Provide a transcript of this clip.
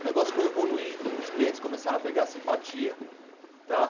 O negócio foi evoluindo, os clientes começaram a pegar simpatia, tá?